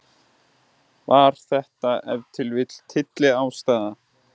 Var þetta ef til vill tylliástæða?